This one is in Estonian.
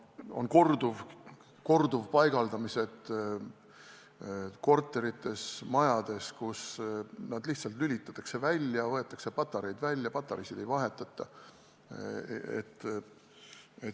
On korduvpaigaldamised korterites ja majades, kus need lihtsalt lülitatakse välja, võetakse patareid välja või patareisid ei vahetata.